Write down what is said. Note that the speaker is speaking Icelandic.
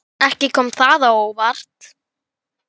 Ekki kom það á óvart.